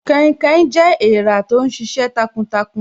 Kainkain jẹ́ èrà tó ń sisẹ takuntakun